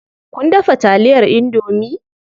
Kun dafa taliyar indomie?